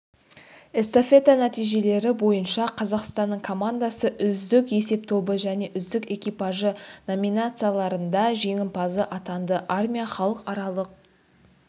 эстафета нәтижелері бойынша қазақстанның командасы үздік есептобы және үздік экипажы номинацияларында жеңімпаз атанды армия халықаралық